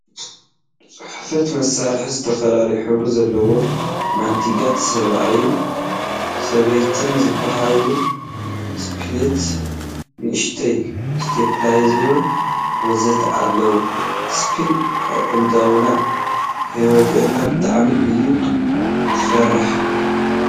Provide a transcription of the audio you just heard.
ፅሕፈት መሳርሒ፦ ዝተፈላለየ ሕብሪ ዘለዎም ማንቲጋት፣ ሰባኣይን ሰበይትን ዝበሃሊ ስፒላት፣ ንእሽተይ ስቴፕሌርን፣ ወዘተ... ኣለው። ስፒል ኣእዳወይ ከይወገኣኒ ብጣዕሚ እየ ዝፈርሕ ።